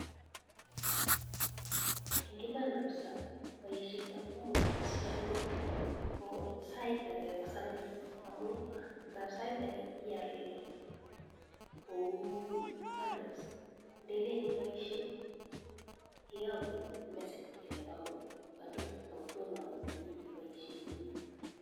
Eng iman kapsaa paishet ab kampuniit ab safaricom koo saiit akee koo samis amuu ngap saiit akee iyal kouu bundles ndelen ipaishee keyakun message kelee kakobek bunndles akotomo angot ipaishee komiee